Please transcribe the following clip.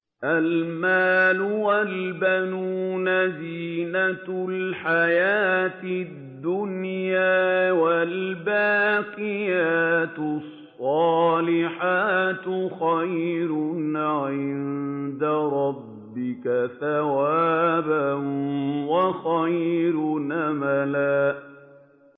الْمَالُ وَالْبَنُونَ زِينَةُ الْحَيَاةِ الدُّنْيَا ۖ وَالْبَاقِيَاتُ الصَّالِحَاتُ خَيْرٌ عِندَ رَبِّكَ ثَوَابًا وَخَيْرٌ أَمَلًا